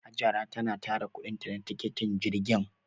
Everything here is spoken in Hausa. Hajara tana tara kuɗinta na tikitin jirgin.